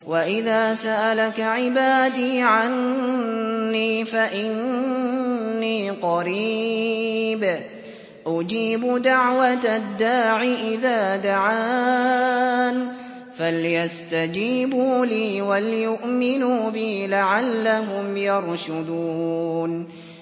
وَإِذَا سَأَلَكَ عِبَادِي عَنِّي فَإِنِّي قَرِيبٌ ۖ أُجِيبُ دَعْوَةَ الدَّاعِ إِذَا دَعَانِ ۖ فَلْيَسْتَجِيبُوا لِي وَلْيُؤْمِنُوا بِي لَعَلَّهُمْ يَرْشُدُونَ